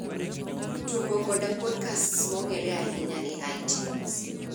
tugo koda podcasts mong'ere ahinya e itunes